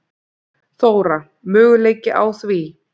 Þóra: Möguleiki á því?